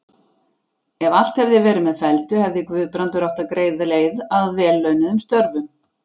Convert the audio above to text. Ef allt hefði verið með felldu, hefði Guðbrandur átt greiða leið að vel launuðum störfum.